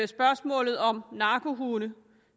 spørgsmålet om narkohunde